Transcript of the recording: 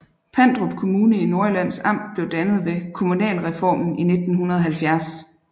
Pandrup Kommune i Nordjyllands Amt blev dannet ved kommunalreformen i 1970